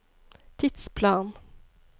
tidsplan